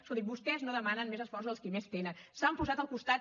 escolti’m vostès no demanen més esforços als qui més tenen s’han posat al costat